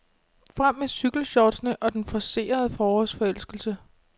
Frem med cykelshortsene og den forcerede forårsforelskelse.